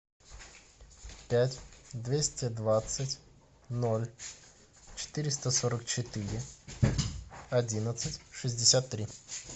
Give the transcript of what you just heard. пять двести двадцать ноль четыреста сорок четыре одиннадцать шестьдесят три